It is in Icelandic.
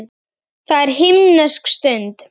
Það er himnesk stund.